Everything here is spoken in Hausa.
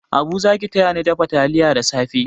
Abu za ki tayani dafa taliya da safe?